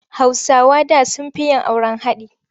Hausawa da sun fi yin auren haɗi.